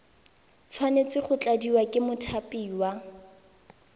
tshwanetse go tladiwa ke mothapiwa